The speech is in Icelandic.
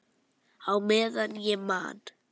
Á meðan ég man.